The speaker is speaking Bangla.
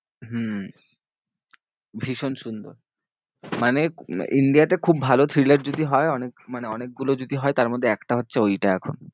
হম ভীষণ সুন্দর মানে India তে খুব ভালো thriller যদি হয় অনেক, মানে অনেকগুলো যদি হয় তার মধ্যে একটা হচ্ছে ওইটা এখন।